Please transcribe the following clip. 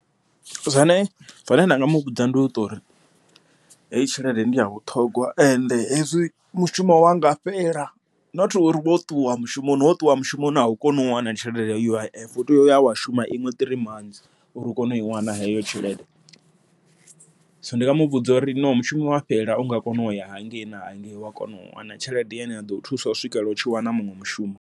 Zwine nda nga muvhudza ndi uṱori heyi tshelede ndi ya vhuṱhogwa, ende hezwi mushumo wa nga fhela not uri wo ṱuwa mushumoni, wo ṱuwa mushumoni au koni u wana tshelede ya U_I_F, u tea uya wa shuma iṅwe three months uri u kone u i wana heyo tshelede. Zwino ndi nga muvhudza uri no mushumo wa fhela unga kona uya hangei na hangei, wa kona u wana tshelede yane ya ḓo thusa u swikela u tshi wana muṅwe mushumo.